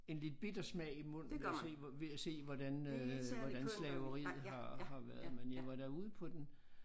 En lidt bitter smag i munden ved at se hvor ved at se hvordan øh hvordan slaveriet har har været men jeg var da ude på den